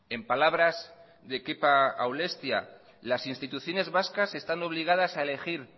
en palabras de kepa aulestia las instituciones vascas están obligadas a elegir